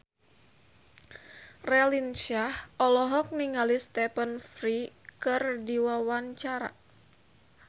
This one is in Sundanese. Raline Shah olohok ningali Stephen Fry keur diwawancara